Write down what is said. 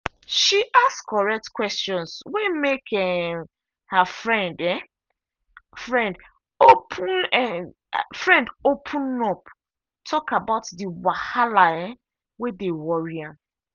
she ask correct questions wey make um her friend um friend open friend open up talk about the wahala um wey dey worry am.